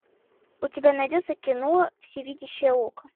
у тебя найдется кино всевидящее око